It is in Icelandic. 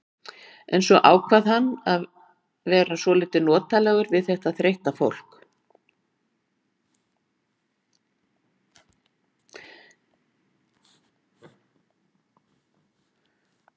En svo ákvað hann að vera svolítið notalegur við þetta þreytta fólk.